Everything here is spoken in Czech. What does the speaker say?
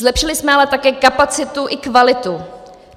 Zlepšili jsme ale také kapacitu i kvalitu.